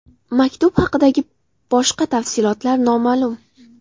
Maktub haqidagi boshqa tafsilotlar noma’lum.